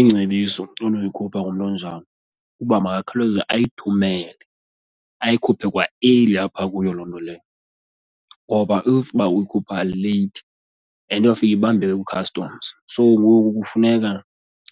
Ingcebiso unoyikhupha nomntu onjalo uba makakhawuleze ayithumele ayikhuphe kwa-early apha kuyo loo nto leyo ngoba if uba uyikhupha leyithi and iyofika ibambeke kwi-customs. So ngoku kufuneka